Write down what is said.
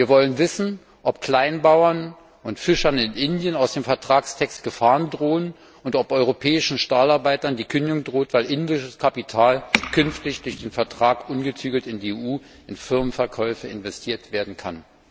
Wir wollen wissen, ob Kleinbauern und Fischern in Indien aus dem Vertragstext Gefahren drohen und ob europäischen Stahlarbeitern die Kündigung droht, weil indisches Kapital künftig aufgrund des Vertrags ungezügelt in der EU in Firmenkäufe investiert werden kann.